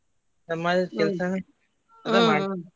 ಸಮಾಜದ್ ಕೆಲ್ಸ ಅಂದ್ರೆ .